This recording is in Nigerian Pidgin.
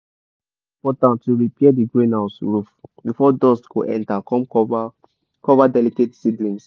e dey important to repair d greenhouse roof before dust go enter come cover cover delicate seedlings.